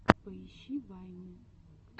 поищи вайны